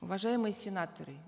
уважаемые сенаторы